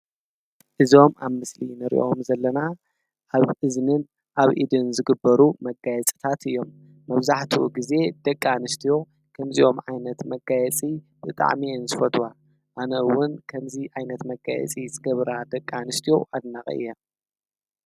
እዞም ኣብ ምስሊ ንርእኦም ዘለና ኣብ እዝንን ኣብ ኢድን ዝግበሩ መጋየጽታት እዮም መብዛሕቱ ጊዜ ደቂ ኣንስትዎ ከምዚዮም ኣይነት መጋየጺ ብጥዕሚየን ስፈትዋ ኣነውን ከምዙ ኣይነት መጋየጺ ዝገብራ ደቃ ንሽትኦ ኣድናቒ እያ።